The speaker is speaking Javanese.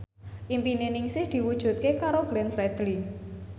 impine Ningsih diwujudke karo Glenn Fredly